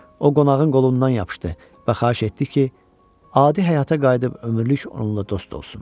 O qonağın qolundan yapışdı və xahiş etdi ki, adi həyata qayıdıb ömürlük onunla dost olsun.